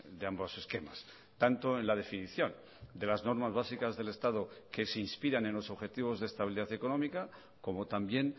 de ambos esquemas tanto en la definición de las normas básicas del estado que se inspiran en los objetivos de estabilidad económica como también